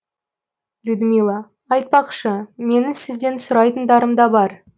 людмила айтпақшы менің сізден сұрайтындарым да бар